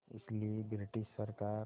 इसलिए ब्रिटिश सरकार